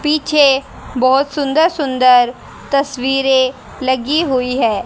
पीछे बहुत सुंदर-सुंदर तस्वीरे लगी हुई है।